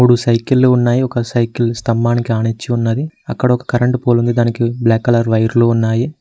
మూడు సైకిల్లు ఉన్నాయి ఒక సైకిల్ స్తంభానికి ఆనించి ఉన్నది అక్కడ ఒక కరెంటు పోల్ ఉంది దానికి బ్లాక్ కలర్ వైర్లు ఉన్నాయి.